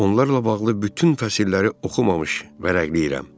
Onlarla bağlı bütün fəsilləri oxumamış vərəqləyirəm.